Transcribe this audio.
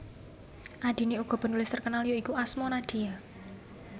Adine uga penulis terkenal ya iku Asma Nadia